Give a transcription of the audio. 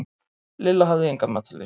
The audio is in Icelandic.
Lilla hafði enga matarlyst.